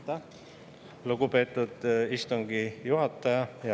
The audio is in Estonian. Aitäh, lugupeetud istungi juhataja!